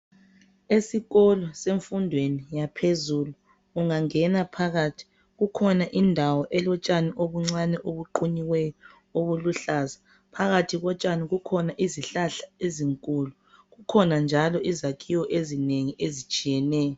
Esikolo semfundweni yaphezulu ungangena phakathi kukhona indawo elotshani obuncane ubuqunyiweyo obuluhlaza phakathi kotshani kukhona izihlahla ezinkulu kukhona njalo izakhiwo ezinengi ezitshiyeneyo.